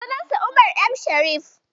Sunansa Umar M Sharif.